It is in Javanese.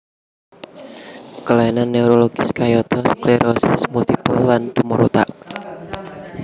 Kelainan neurologis kayata sklerosis multipel lan tumor otak